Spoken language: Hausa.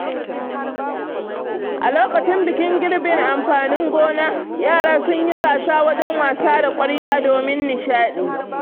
A lokacin bikin girbin amfanin gona, yara sun yi gasa wajen wasa da ƙwarya domin nishaɗi.